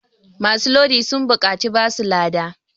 masu Lodi sun buƙaci basu lada